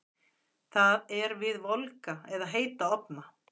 Það er við volga eða heita ofna.